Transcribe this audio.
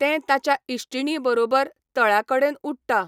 तें ताच्या इश्टिणीं बरोबर तळ्या कडेनउडटा.